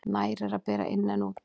Nær er að bera inn en út.